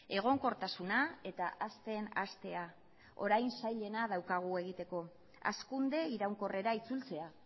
egonkortasuna eta hazten hastea orain zailena daukagu egiteko hazkunde iraunkorrera itzultzea